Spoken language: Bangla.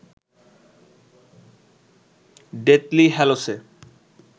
ডেথলি হ্যালোসে